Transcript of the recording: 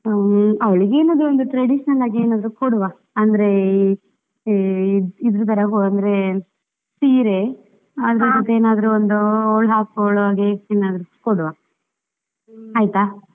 ಹುಮ್ಮ್, ಅವಳಿಗೆ ಏನಾದ್ರು ಒಂದು traditional ಆಗಿ ಏನಾದ್ರೂ ಕೊಡುವ ಅಂದ್ರೆ ಈ ಈ ಇದರ ತರ ಆ ಅಂದ್ರೆ ಸೀರೆ. ಅದರ ಏನಾದ್ರೂ ಒಂದು ಅವಳು ಹಾಕ್ಕೊಳ್ಳುವ ಹಾಗೆ ಏನಾದ್ರು ಒಂದು gift ಕೊಡುವ ಆಯ್ತಾ?